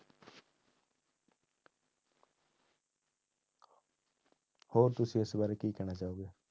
ਹੋਰ ਤੁਸੀਂ ਇਸ ਬਾਰੇ ਕੀ ਕਹਿਣਾ ਚਾਹੋਗੇ।